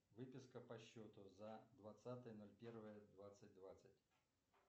выписка по счету за двадцатое ноль первое двадцать двадцать